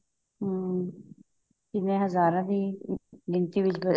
ਹਮ ਜਿਵੇਂ ਹਜ਼ਾਰਾਂ ਦੀ ਗਿਣਤੀ ਵਿੱਚ